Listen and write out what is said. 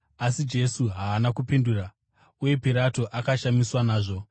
Asi Jesu haana kupindura, uye Pirato akashamiswa nazvo.